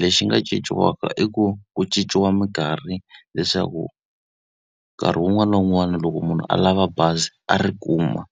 Lexi nga cinciwaka i ku ku cinciwa minkarhi leswaku nkarhi wun'wana na wun'wana loko munhu a lava bazi a ri kuma.